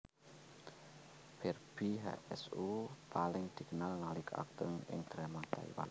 Barbie Hsu paling dikenal nalika akting ing drama Taiwan